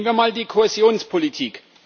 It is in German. Nehmen wir mal die Kohäsionspolitik.